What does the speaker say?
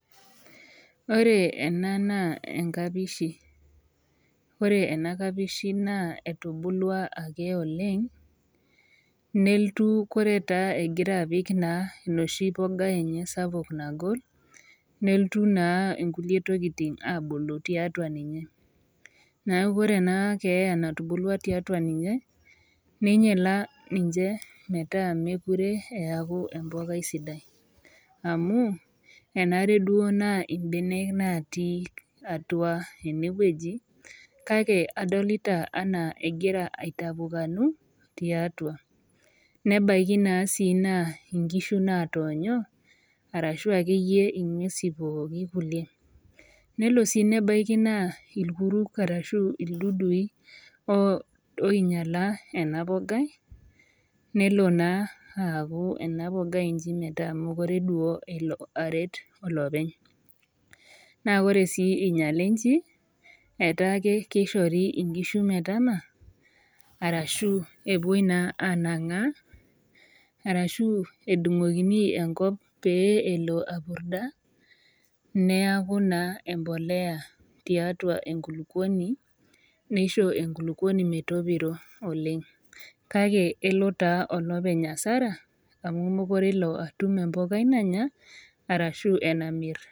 Ore ena naa enkapishi, wore ena kapishi naa etubulwa ake oleng', nelotu koree taa ekira apik naa inoshi poga enye sapuk nagol, nelotu naa inkulie tokitin aabulu tiatua ninye. Neeku wore ena keeya natubulua tiatua ninye, ninyiala ninche metaa mekure eeku empukai sidai. Amu, enare duo naa imbenek naatii atua enewuoji, kake adolita enaa ekira aitapukanu tiatua, nebaiki naa sii naa inkishu naatoonyo, arashu akeyie inguesin pookin kulie. Nelo sii nebaiki naa irkuruk arashu ildudui oinyiala ena mbogai, nelo naa aaku ena mbogai iji metaa mekure duo elo aret olopeny. Naa wore sii inyiale inji, etaake kishori inkishu metama, arashu epoi naa aanangaa, arashu edungokini enkop pee elo apurda, neaku naa empolea tiatua enkuluponi. Nisho enkuluponi metopirro oleng', kake elo taa olopeny hasara, amu mekure ele atum empukai nanya, arashu enamirr.